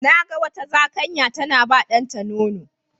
Na ga wata Zakanniya tana bawa ɗanta nono.